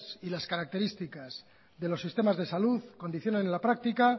y las características de los sistemas de salud condicionan a la práctica